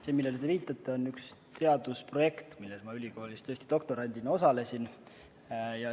See, millele te viitate, on üks teadusprojekt, milles ma ülikoolis tõesti doktorandina osalesin.